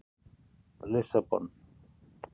Lissabon